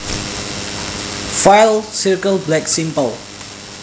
File Circle black simple